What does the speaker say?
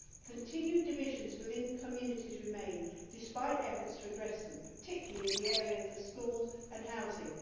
Continued divisions within communities remain despite efforts to address them, particularly in the areas of schools and housing.